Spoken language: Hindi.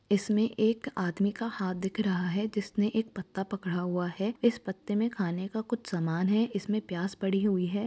इसमें एक आदमी का हाथ दिख रहा है जिस ने एक पत्ता पकड़ा हुआ है इस पते में खाने का कुछ सामान है इसमें प्याज पड़ी हुई है।